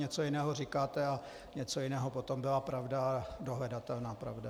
Něco jiného říkáte a něco jiného potom byla pravda, dohledatelná pravda.